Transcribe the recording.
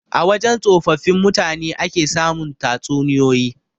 A wajan tsofaffin mutane ake samun tatsuniyoyi.